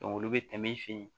olu bɛ tɛmɛ i fɛ yen